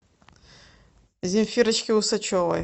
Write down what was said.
земфирочке усачевой